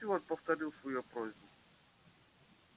стюарт повторил свою просьбу